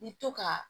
I bi to ka